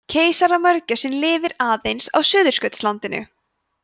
keisaramörgæsin lifir aðeins á suðurskautslandinu